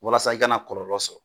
Walasa i kana kɔlɔlɔ sɔrɔ